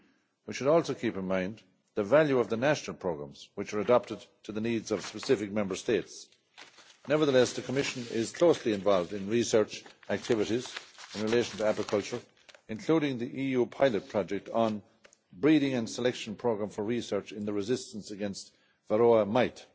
we should also keep in mind the value of the national programmes, which are adapted to the needs of specific Member States. Nevertheless, the Commission is closely involved in research activities in relation to apiculture, including the EU pilot project on breeding and selection program for research in the resistance against the Varroa mite.